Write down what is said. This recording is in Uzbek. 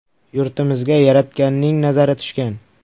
– Yurtimizga Yaratganning nazari tushgan.